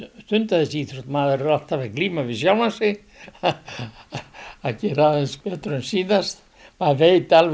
stunda þessa íþrótt maður er alltaf að glíma við sjálfan sig að gera aðeins betur en síðast maður veit alveg